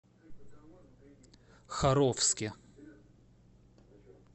харовске